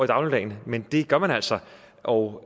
dagligdagen men det gør man altså og